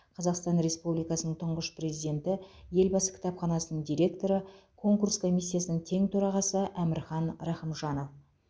қазақстан республикасының тұңғыш президенті елбасы кітапханасының директоры конкурс комиссиясының тең төрағасы әмірхан рахымжанов